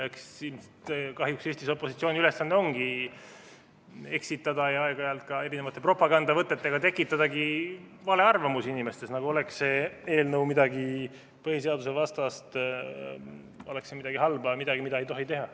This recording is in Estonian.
Eks kahjuks Eestis opositsiooni ülesanne ongi eksitada ja aeg-ajalt ka erinevate propagandavõtetega tekitada valearvamusi inimestes, nagu oleks see eelnõu midagi põhiseadusvastast, midagi halba, midagi, mida ei tohi teha.